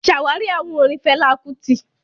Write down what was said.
Ṣàwárí àwọn orin Fẹlá Kútì